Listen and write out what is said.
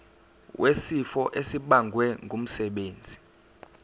wesifo esibagwe ngumsebenzi